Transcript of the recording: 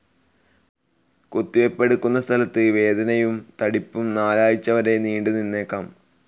കുത്തി വെപ്പെടുക്കുന്ന സ്ഥലത്ത് വേദനയും തടിപ്പും നാലാഴ്ച വരെ നീണ്ടു നിന്നേക്കാം.